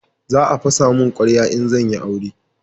za a fasa mun kwarya in zan yi aure